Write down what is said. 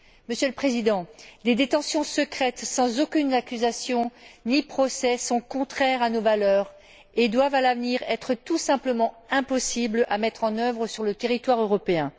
Monsieur le Président, des détentions secrètes sans aucune accusation ni procès sont contraires à nos valeurs et doivent à l'avenir être tout simplement impossibles à mettre en œuvre sur le territoire européen.